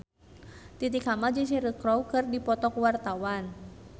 Titi Kamal jeung Cheryl Crow keur dipoto ku wartawan